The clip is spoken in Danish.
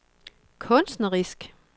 kunstnerisk